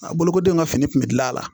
A bolokodenw ka fini kun bɛ gilan la